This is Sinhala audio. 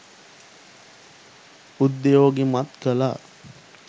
උද්යෝගිමත් කළා